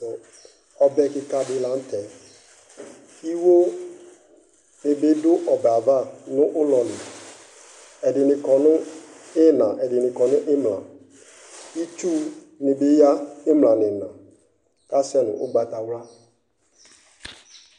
Ɔbɛ kɩka dɩ la nʋ tɛ Iwo dɩ bɩ dʋ ɔbɛ yɛ ava nʋ ʋlɔ li Ɛdɩnɩ kɔ nʋ ɩɣɩna, ɛdɩnɩ kɔ nʋ ɩmla Itsunɩ bɩ ya ɩmla nʋ ɩɣɩna kʋ asɛ nʋ ʋgbatawla